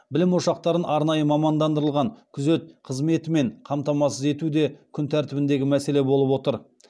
білім ошақтарын арнайы мамандандырылған күзет қызметімен қамтамасыз ету де күн тәртібіндегі мәселе болып отыр